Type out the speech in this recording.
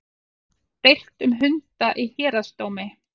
Deilt um hunda í héraðsdómi